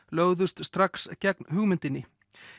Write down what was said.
lögðust strax gegn hugmyndinni